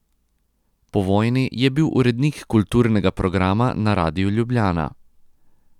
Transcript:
Po vojni je bil urednik kulturnega programa na Radiu Ljubljana.